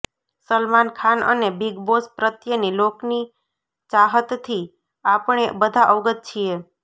સલમાન ખાન અને Bigg Boss પ્રત્યેની લોકની ચાહતથી આપણે બધા અવગત છીએ